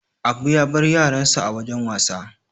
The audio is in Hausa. Abu ya bar yaransa a wajan wasa.